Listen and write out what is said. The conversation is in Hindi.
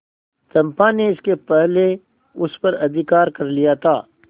चंपा ने इसके पहले उस पर अधिकार कर लिया था